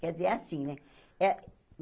Quer dizer, é assim, né?